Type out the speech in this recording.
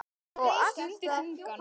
Stundi þungan.